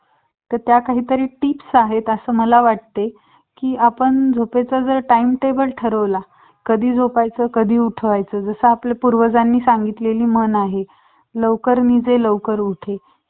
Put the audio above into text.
तर त्या काहीतरी टिप्स आहेत अस मला वाटते कि आपण की आपण जर timetable ठरवल कधी झोपयच कधी उठायच जस कि आपल्या पूर्वजांनी सांगितलेली म्हण आहे लवकर निजे लवकर उठे